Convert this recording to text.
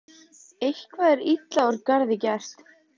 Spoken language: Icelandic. Eitthvað er illa úr garði gert